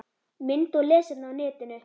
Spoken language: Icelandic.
Mynd og lesefni á netinu